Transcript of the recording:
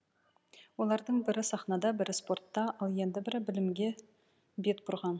олардың бірі сахнада бірі спортта ал енді бірі білімге бет бұрған